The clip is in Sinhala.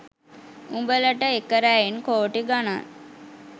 උඹලට එක රැයෙන් කෝටි ගනන්